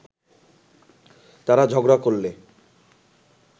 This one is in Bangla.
তারা ঝগড়া করলে